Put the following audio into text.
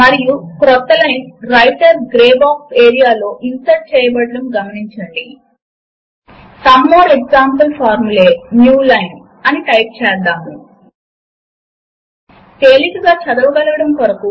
మీరు కనుక ఇప్పటికే లిబ్రేఆఫీస్ సూట్ ను ఇన్స్టాల్ చేసుకుని ఉన్నట్లు అయితే ప్రోగ్రామ్స్ యొక్క లిబ్రే ఆఫీస్ సూట్ లో మాథ్ ను కనుగొనగలరు